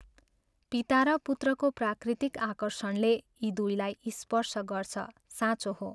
पिता र पुत्रको प्राकृतिक आकर्षणले यी दुइलाई स्पर्श गर्छ साँचो हो।